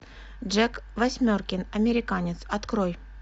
джек восьмеркин американец открой